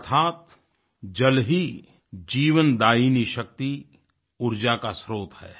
अर्थात जल ही जीवन दायिनी शक्ति ऊर्जा का स्त्रोत है